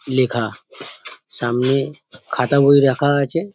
লেখা সামনে খাতা বই রাখা আছে ।